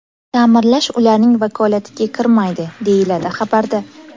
Ta’mirlash ularning vakolatiga kirmaydi, deyiladi xabarda.